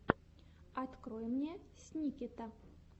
открой мне сникета